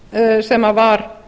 bs sem var